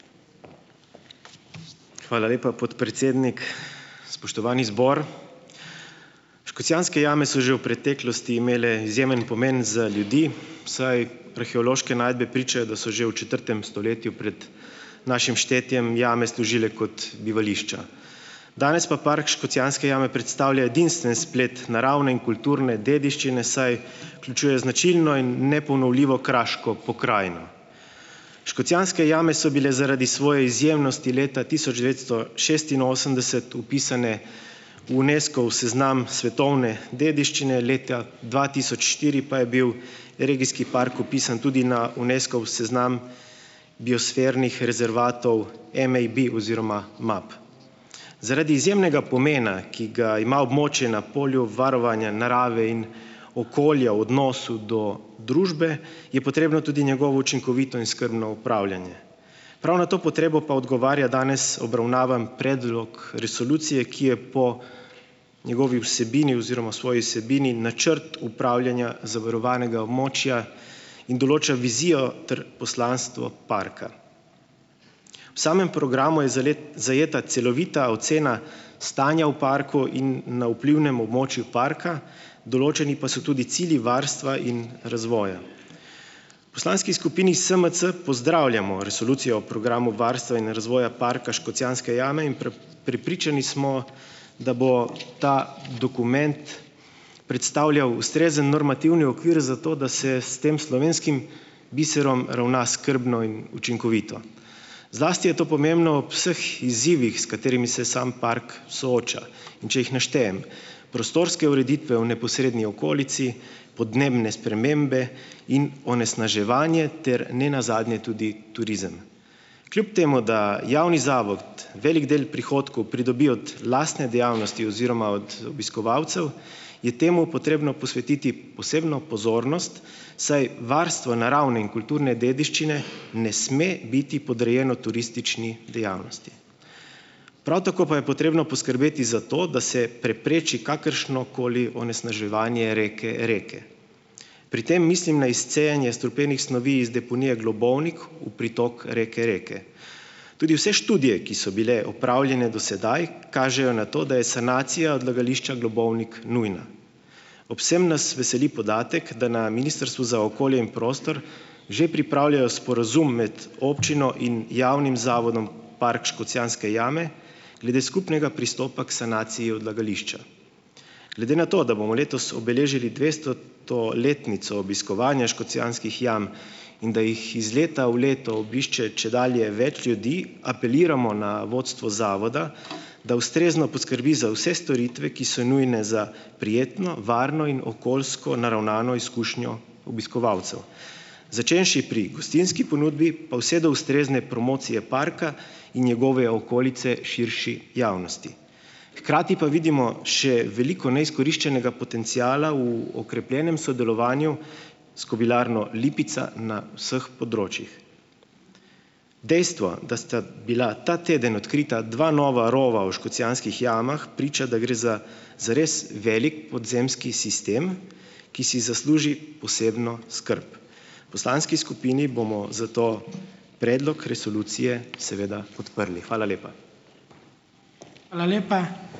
Hvala lepa, podpredsednik, spoštovani zbor. Škocjanske jame so že v preteklosti imele izjemen pomen za ljudi, saj arheološke najdbe pričajo, da so že v četrtem stoletju pred našim štetjem jame služile kot bivališča, danes pa park Škocjanske jame predstavlja edinstven splet naravne in kulturne dediščine, saj vključuje značilno in neponovljivo kraško pokrajino. Škocjanske jame so bile zaradi svoje izjemnosti leta tisoč devetsto šestinosemdeset vpisane v Unescov seznam svetovne dediščine, leta dva tisoč štiri pa je bil regijski park vpisan tudi na Unescov seznam biosfernih rezervatov MAB oziroma MAB zaradi izjemnega pomena, ki ga ima območje na polju varovanja narave in okolja v odnosu do družbe, je potrebno tudi njegovo učinkovito in skrbno upravljanje, prav na to potrebo pa odgovarja danes obravnavan predlog resolucije, ki je po njegovi vsebini oziroma svoji vsebini načrt upravljanja zavarovanega območja in določa vizijo ter poslanstvo parka. V samem programu je zajeta celovita ocena stanja v parku in na vplivnem območju parka, določeni pa so tudi cilji varstva in razvoja. Poslanski skupini SMC pozdravljamo resolucijo o programu varstva in razvoja parka Škocjanske jame in prepričani smo, da bo ta dokument predstavljal ustrezen normativni okvir za to, da se s tem slovenskim biserom ravna skrbno in učinkovito, zlasti je to pomembno ob vseh izzivih, s katerimi se sam park sooča, in če jih naštejem, prostorske ureditve o neposredni okolici, podnebne spremembe, in onesnaževanje ter nenazadnje tudi turizem. Kljub temu da javni zavod velik del prihodkov pridobi od lastne dejavnosti oziroma od obiskovalcev, je temu potrebno posvetiti posebno pozornost, saj varstvo naravne in kulturne dediščine ne sme biti podrejeno turistični dejavnosti, prav tako pa je potrebno poskrbeti za to, da se prepreči kakršnokoli onesnaževanje reke Reke, pri tem mislim na izcejanje strupenih snovi iz deponije Globovnik v pritok reke Reke, tudi vse študije, ki so bile opravljene do sedaj, kažejo na to, da je sanacija odlagališča Globovnik nujna, ob vsem nas veseli podatek, da na ministrstvu za okolje in prostor že pripravljajo sporazum med občino in javnim zavodom Park Škocjanske jame glede skupnega pristopa k sanaciji odlagališča glede na to, da bomo letos obeležili dvestoto letnico obiskovanja škocjanskih jam in da jih iz leta v leto obišče čedalje več ljudi, apeliramo na vodstvo zavoda da ustrezno poskrbi za vse storitve, ki so nujne za prijetno, varno in okoljsko naravnano izkušnjo obiskovalcev, začenši pri gostinski ponudbi pa vse do ustrezne promocije parka in njegove okolice širši javnosti. Hkrati pa vidimo še veliko neizkoriščenega potenciala v okrepljenem sodelovanju s kobilarno Lipica na vseh področjih, dejstvo, da sta ta teden odkrita dva nova rova v Škocjanskih jamah, priča, da gre za zares velik podzemski sistem, ki si zasluži posebno skrb. Poslanski skupini bomo zato predlog resolucije seveda podprli, hvala lepa. Hvala lepa.